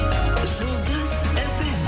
жұлдыз фм